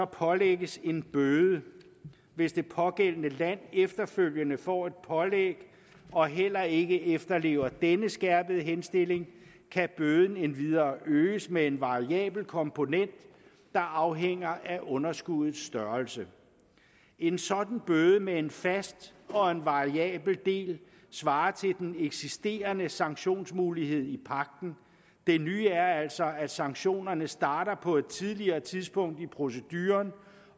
pålægges en bøde hvis det pågældende land efterfølgende får et pålæg og heller ikke efterlever denne skærpede henstilling kan bøden endvidere øges med en variabel komponent der afhænger af underskuddets størrelse en sådan bøde med en fast og en variabel del svarer til den eksisterende sanktionsmulighed i pagten det nye er altså at sanktionerne starter på et tidligere tidspunkt i proceduren